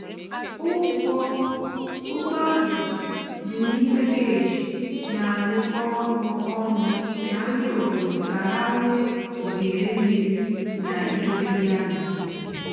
ụgbọ azụ dị n'ime cage na-arụkọ ọrụ ọnụ na ndị obodo ka ha nwee ohere mmiri na idobe ya n’usoro.